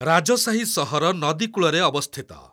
ରାଜସାହି ସହର ନଦୀ କୂଳରେ ଅବସ୍ଥିତ।